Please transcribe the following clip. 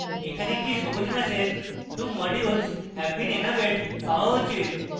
এখানে একটি সবুজ message 2 modules have been enabled পাওয়া উচিত